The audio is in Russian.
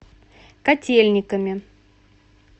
котельниками